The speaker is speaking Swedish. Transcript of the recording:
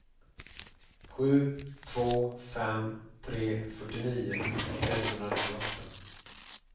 sju två fem tre fyrtionio etthundranittioåtta